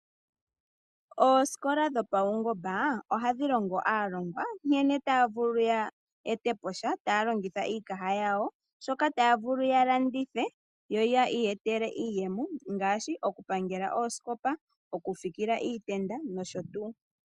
Oosikola dhopaungomba ohadhi longo aalongwa nkene taya vulu yeetepo sha taya longitha iikaha yawo shoka taya vulu ya landithe yo yi iyetele iiyemo ngaashi okupangela oosikopa, oku fikila iitenda nosho tuu.